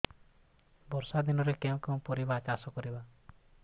ବର୍ଷା ଦିନରେ କେଉଁ କେଉଁ ପରିବା ଚାଷ କରିବା